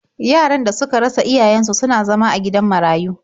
Yaran da suka rasa iyayen su suna zama a gidan marayu.